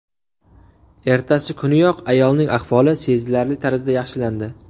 Ertasi kuniyoq ayolning ahvoli sezilarli tarzda yaxshilandi.